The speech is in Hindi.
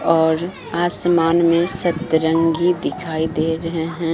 और आसमान में सतरंगी दिखाई दे रहे हैं।